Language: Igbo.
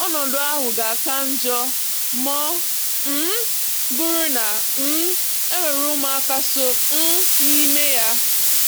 Ọnọdụ ahụ ga-aka njọ ma ọ um bụrụ na um e nwere ụmụaka so um n'ime ya.